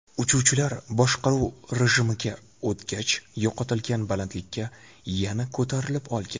Uchuvchilar boshqaruv rejimiga o‘tgach, yo‘qotilgan balandlikka yana ko‘tarilib olgan.